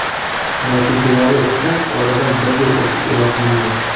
Natijalari esa oradan bir yil o‘tib e’lon qilindi.